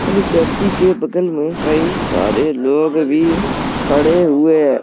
और व्यक्ति के बगल में कई सारे लोग भी खड़े हुए हैं।